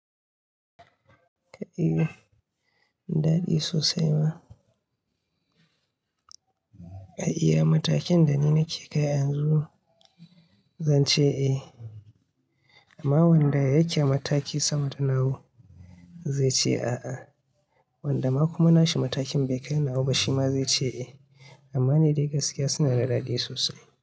Ka ihu, daɗi sosai ma. A iya matakin da ni nake kai a yanzu zan ce "eh". Amma wanda yake a mataki sama da nawa zai ce "a'a". Wanda ma kuma na shi matakin bai kai nawa ba ma shi ma zai ce "eh". Amma ni dai gaskiya suna da daɗi sosai.